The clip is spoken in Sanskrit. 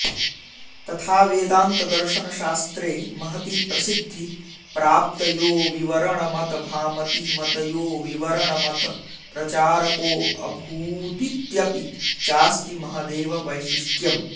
तथा वेदान्तदर्शनशास्त्रे महती प्रसिद्धि प्राप्तयोविवरणमतभामतीमतयोविवरण मतप्रचारकोऽभूदित्यपि चास्ति महदेव वैशिष्ट्यम्